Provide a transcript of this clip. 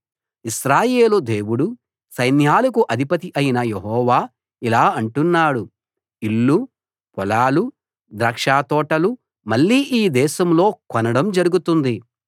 ఇశ్రాయేలు దేవుడూ సైన్యాలకు అధిపతి అయిన యెహోవా ఇలా అంటున్నాడు ఇల్లు పొలాలు ద్రాక్షతోటలు మళ్ళీ ఈ దేశంలో కొనడం జరుగుతుంది